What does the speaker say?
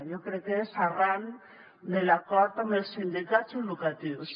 jo crec que és arran de l’acord amb els sindicats educatius